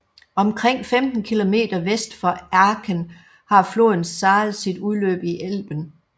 Omkring 15 km vest for Aken har floden Saale sit udløb i Elben